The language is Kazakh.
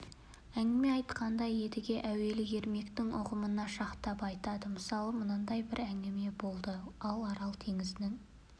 әңгіме айтқанда едіге әуелі ермектің ұғымына шақтап айтады мысалы мынадай бір әңгіме болды ал арал теңізінің